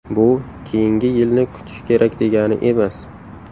Bu keyingi yilni kutish kerak degani emas.